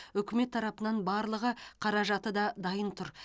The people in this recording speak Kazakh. үкімет тарапынан барлығы қаражаты да дайын тұр